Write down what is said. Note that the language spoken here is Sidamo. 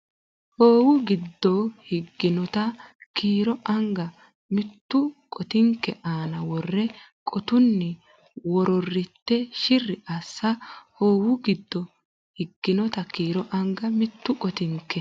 Hoowu giddo higinota kiiro anga mittu qotinke aana wore qotunni wororritte shirri assa Hoowu giddo higinota kiiro anga mittu qotinke.